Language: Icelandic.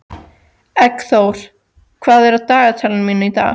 Eggþór, hvað er á dagatalinu mínu í dag?